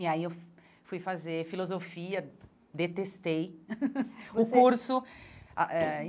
E aí eu fui fazer filosofia, detestei o curso ah eh.